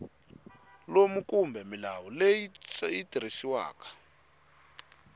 lowu kumbe milawu leyi tirhisiwaka